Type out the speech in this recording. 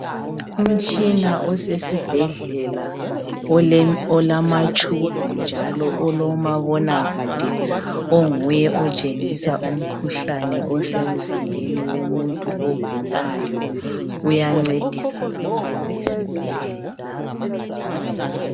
Umtshina osesibhedlela olamatshubhu njalo olomabonakude onguye otshengisa umkhuhlane osemzimbeni yomuntu ogulayo, uyancedisa kakhulu esibhedlela.